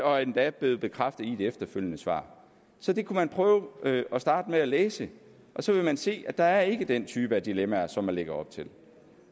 og er endda blevet bekræftet i et efterfølgende svar så det kunne man prøve at starte med at læse og så ville man se at der ikke er den type dilemmaer som man lægger op til